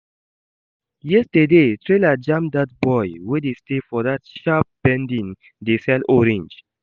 Yesterday, trailer jam dat boy wey dey stay for that sharp bending dey sell orange